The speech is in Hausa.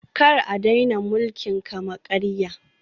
Kar a daina mulkin kama-karya